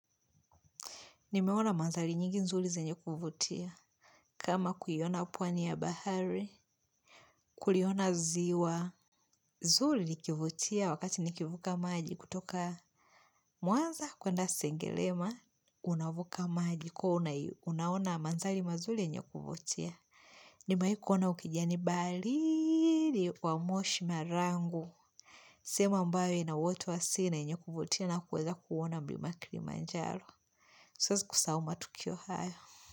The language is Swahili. Nimeona manzali nyingi nzuri zenye kuvutia. Kama kuiona umpwani ya bahari, kuliona ziwa. Nzuri likivutia wakati nikivuka maji kutoka Mwanza kuenda Sengerema. Unavuka maji kwa hiyo unaona manzari mazuri yenye kuvutia. Nimewahi ukijani baharini wa moshi na rangu. Sehemu ambayo ina watu sea na yenye kuvutia na kuweza kuona mlima kilimanjaro. Siwezi kusahau matukio haya.